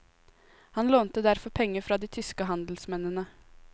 Han lånte derfor penger fra de tyske handelsmennene.